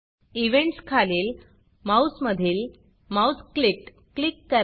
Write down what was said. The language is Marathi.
Eventsइवेंट्स खालील Mouseमाउस मधील mouseClickedमाउसक्लिक्ड क्लिक करा